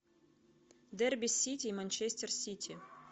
дерби сити и манчестер сити